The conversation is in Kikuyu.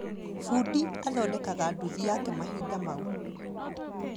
Bundi athondekaga nduthi yake mahinda mau